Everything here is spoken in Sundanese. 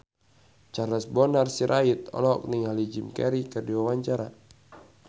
Charles Bonar Sirait olohok ningali Jim Carey keur diwawancara